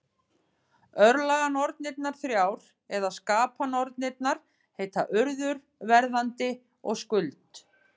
Örlaganornirnar þrjár, eða skapanornirnar, heita Urður, Verðandi og Skuld.